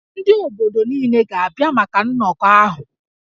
Ndị obodo niile ga-abịa maka nnọkọ ahụ